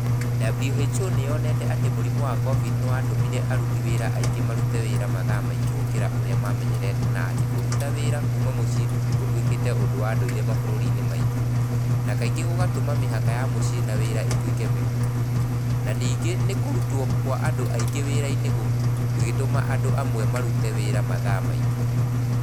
WHO nĩ yonete atĩ mũrimũ wa cobidi nĩ watũmire aruti wĩra aingĩ marute wĩra mathaa maingĩ gũkĩra ũrĩa maamenyerete na atĩ Kuruta wĩra kuma mũcie gũtuĩkĩte ũndũ wa ndũire mabũrũri-inĩ maingĩ, na kaingĩ gũgatũma mĩhaka ya mũciĩ na wĩra ĩtuĩke mĩhũthũ", na ningĩ nĩ kũrutwo kwa andũ aingĩ wĩra-inĩ gũgĩtũma andũ amwe marute wĩra mathaa maingĩ.